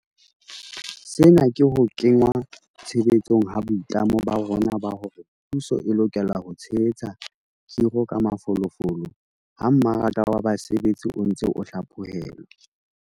Sena ke ho kenngwa tshebetsong ha boitlamo ba rona ba hore puso e lokela ho tshehetsa khiro ka mafolofolo ha mmaraka wa basebetsi o ntse o hla phohelwa.